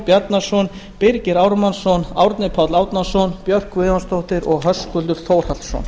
bjarnason birgir ármannsson árni páll árnason björk guðmundsdóttir og höskuldur þórhallsson